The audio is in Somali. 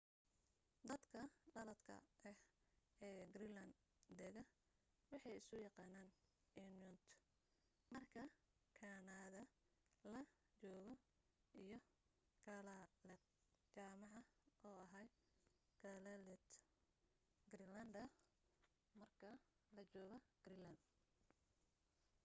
dadka dhaladka ah ee greenland dega waxay isu yaqaaniin inuit marka kanada la joogo iyo kalaalleq jamaca oo aha kalaallit greenlander marka la joogo greenland